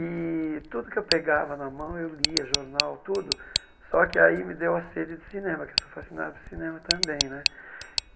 E tudo o que eu pegava na mão eu lia, jornal, tudo, só que aí me deu a sede de cinema, que sou fascinado por cinema também né.